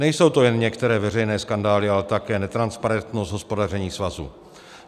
Nejsou to jen některé veřejné skandály, ale také netransparentnost hospodaření svazu.